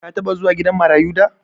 Ka taɓa zuwa gidan marayu da?